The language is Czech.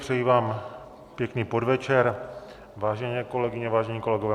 Přeji vám pěkný podvečer, vážené kolegyně, vážení kolegové.